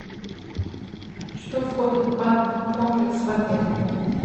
что входит в банный комплекс в отеле